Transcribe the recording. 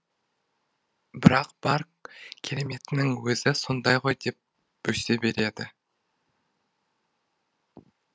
бірақ бар кереметінің өзі сонда ғой деп бөсе береді